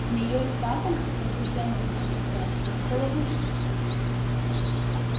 змеёй саттом возбуждённо спросил твер это ловушка